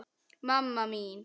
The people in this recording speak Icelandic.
mamma mín